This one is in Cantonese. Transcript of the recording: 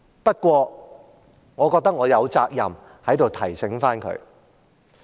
不過，我覺得我有責任在這裏提醒他。